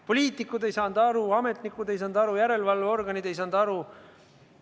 Poliitikud ei saanud aru, ametnikud ei saanud aru, järelevalveorganid ei saanud aru.